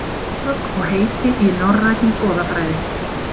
Hugtök og heiti í norrænni goðafræði.